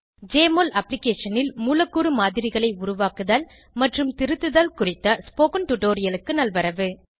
JMOL அப்ளிகேஷனில் மூலக்கூறு மாதிரிகளை உருவாக்குதல் மற்றும் திருத்துதல் குறித்த ஸ்போகன் டுடோரியலுக்கு நல்வரவு